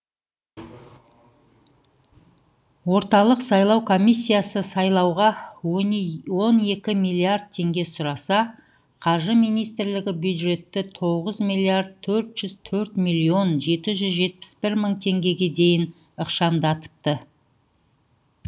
орталық сайлау комиссиясы сайлауға он екі миллиард теңге сұраса қаржы министрлігі бюджетті тоғыз миллиард төрт жүз төрт миллион жеті жүз жетпіс бір мың теңгеге дейін ықшамдапты